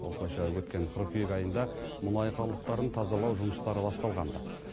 осылайша өткен қыркүйек айында мұнай қалдықтарын тазалау жұмыстары басталған ды